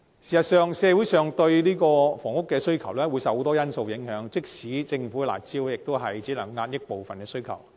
事實上，社會對房屋的需求受眾多因素影響，即使是政府的"辣招"，也只能遏抑部分需求。